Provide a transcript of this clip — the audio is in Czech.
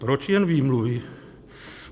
Proč jen výmluvy?